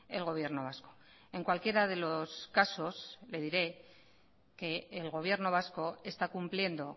el gobierno vasco en cualquiera de los casos le diré que el gobierno vasco está cumpliendo